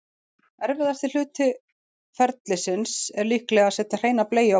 Erfiðasti hluti ferlisins er líklega að setja hreina bleiu á barnið.